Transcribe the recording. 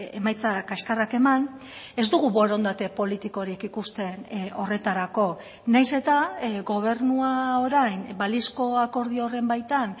emaitza kaxkarrak eman ez dugu borondate politikorik ikusten horretarako nahiz eta gobernua orain balizko akordio horren baitan